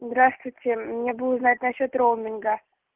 здравствуйте мне бы узнать насчёт роуминга